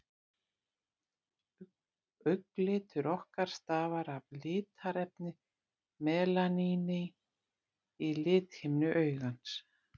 Augnlitur okkar stafar af litarefninu melaníni í lithimnu augans.